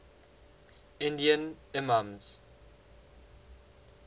indian imams